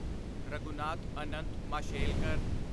Raghunath Anant Mashelkar